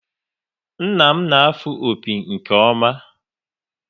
Nna m na-afụ opi nke ọma